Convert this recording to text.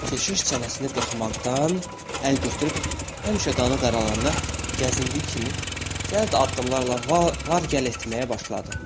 Keşiş çənəsini qırxmaqdan əl götürüb, həmişə qanı qaralananda gəzindiyi kimi cəld addımlarla var-gəl etməyə başladı.